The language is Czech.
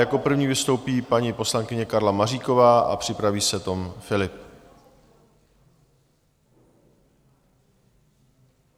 Jako první vystoupí paní poslankyně Karla Maříková a připraví se Tom Philipp.